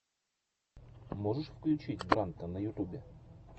можешь включить брандта на ютубе